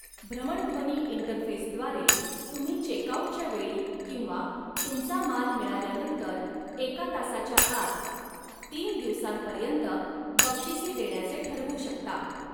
भ्रमणध्वनी इंटरफेसद्वारे, तुम्ही चेकआऊटच्या वेळी किंवा तुमचा माल मिळाल्यानंतर एका तासाच्या आत तीन दिवसांपर्यंत बक्षिसी देण्याचे ठरवू शकता.